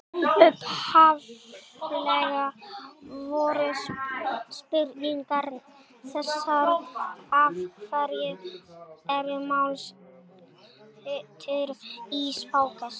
Upphaflega voru spurningarnar þessar: Af hverju eru málshættir í páskaeggjum?